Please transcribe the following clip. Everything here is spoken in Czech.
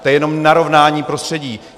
To je jenom narovnání prostředí.